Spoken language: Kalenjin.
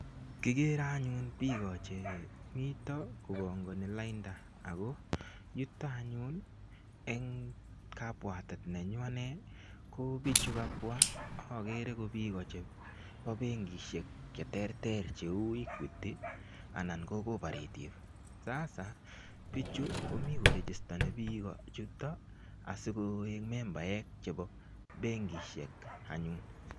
Kigere anyun biiko che mito kobangani lainda ago yuto anyun eng kabwatet nenyu anne ko bichu kabwa agere ko biiko chebo benkisiek chrterter cheu Equity anan ko Cooprative. Sasabichu komi korigistoni biik asigoik membaek.